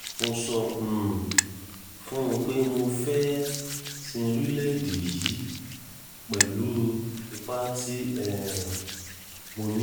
mo sọ um fún un pé mo fẹ́ẹ́ sin orílẹ̀‐èdè yìí pẹ̀lú ipa tí um mo ní